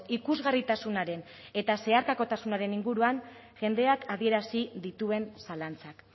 ikusgarritasunaren eta zeharkakotasunaren inguruan jendeak adierazi dituen zalantzak